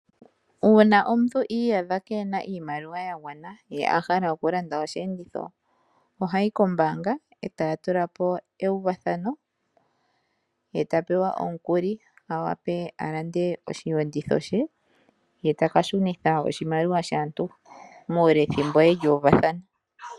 Uuna omuntu i iyadha keena iimaliwa ya gwana, ye a hala oku landa osheenditho ohayi kombaanga e taa tula po euvathano, ye ta pewa omukuli, a wape a lande osheenditho she, ye taka shunitha oshimaliwa shaantu muule wethimbo yeli uvathana.